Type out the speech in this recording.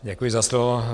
Děkuji za slovo.